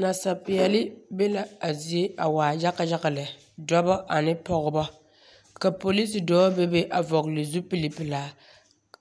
Nasapeɛle be la zie waa yaga yaga lɛ, dɔba ane pɔgeba, ka polisi dɔɔ bebe a vɔgele zupili pelaa